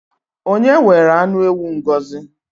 Onye were anụ ewu Ngọzi?